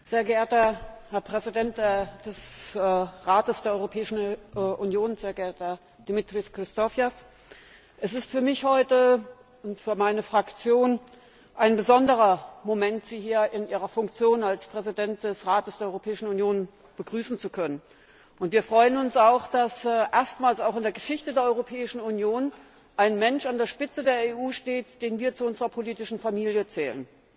Herr Präsident, sehr geehrter Präsident des Rates der Europäischen Union, sehr geehrter Dimitris Christofias! Es ist für mich und meine Fraktion ein besonderer Moment, Sie heute hier in Ihrer Funktion als Präsident des Rates der Europäischen Union begrüßen zu können. Wir freuen uns, dass erstmals in der Geschichte der Europäischen Union ein Mensch an der Spitze der EU steht, den wir zu unserer politischen Familie zählen.